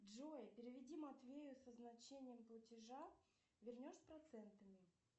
джой переведи матвею со значением платежа вернешь с процентами